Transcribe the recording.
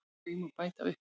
Því má bæta upp